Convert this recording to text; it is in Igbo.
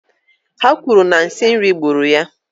Ha kwuru na nsi nri gburu ya